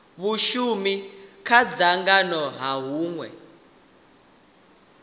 vhashumi kha dzangano ha hunwe